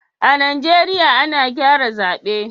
a'Nijeriya ana gyara zabe.